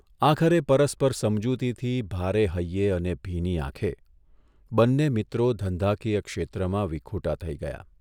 આખરે પરસ્પર સમજૂતિથી ભારે હૈયે અને ભીની આંખે બંને મિત્રો ધંધાકીય ક્ષેત્રમાં વિખૂટા થઇ ગયા.